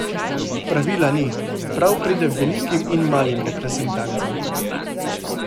Pravila ni, prav pride velikim in malim reprezentancam.